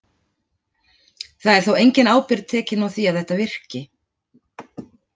Það er þó engin ábyrgð tekin á því að þetta virki.